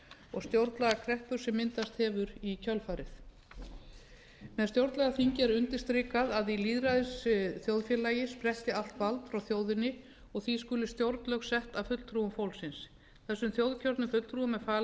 og stjórnlagakreppu sem myndast hefur í kjölfarið með stjórnlagaþingi er undirstrikað að í lýðræðisþjóðfélagi spretti allt vald frá þjóðinni og því skuli stjórnlög sett af fulltrúum fólksins þessum þjóðkjörnu fulltrúum er falið